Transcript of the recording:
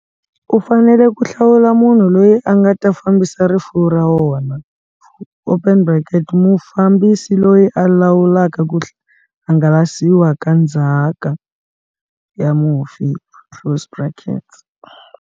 U fanele ku hlawula munhu loyi a nga ta fambisa rifuwo ra wona, mufambisi loyi a lawulaka ku hangalasiwa ka ndzhaka ya mufi.